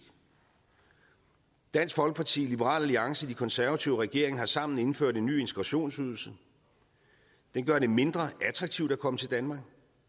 dansk folkeparti liberal alliance de konservative og regeringen har sammen indført en ny integrationsydelse den gør det mindre attraktivt at komme til danmark